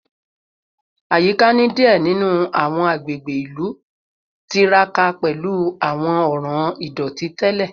Ayika ni diẹ ninu awọn agbegbe ilu tiraka pẹlu awọn ọran idoti tẹlẹ